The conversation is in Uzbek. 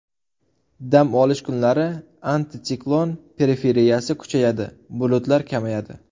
Dam olish kunlari antitsiklon periferiyasi kuchayadi, bulutlar kamayadi.